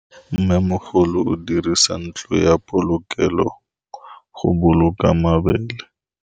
Mmêmogolô o dirisa ntlo ya polokêlô, go boloka mabele.